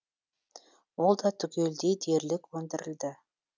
ол да түгелдей дерлік өндірілді